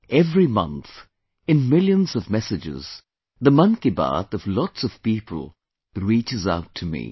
Every month, in millions of messages, the 'Mann Ki Baat' of lots of people reaches out to me